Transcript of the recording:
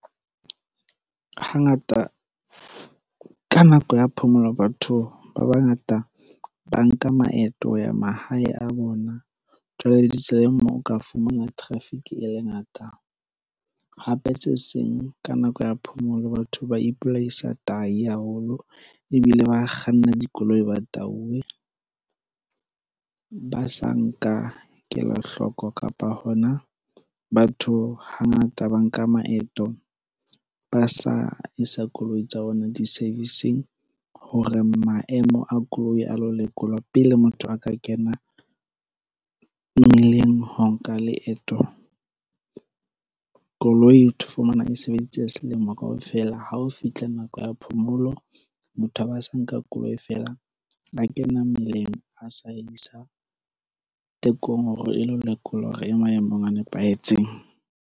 Hangata ka nako ya phomolo batho ba bangata ba nka maeto ya mahae a bona jwale le di tseleng moo o ka fumana traffic e le ngata hape se seng ka nako ya phomolo. Batho ba ipolaisa tahi haholo ebile ba kganna dikoloi ba tauwe ba sa nka kelohloko kapa hona batho hangata ba nka maeto ba a sa isa koloi tsa ona di-service-ng hore maemo a koloi a lo lekolwa pele motho a ka kena mmileng ho nka leeto Koloi o fumana e sebeditse selemo kaofela ha o fitlha nako ya phomolo. Motho a ba sa nka koloi feela, a kena mmeleng a sa isa tekong hore e lo lekolwa hore e maemong a nepahetseng.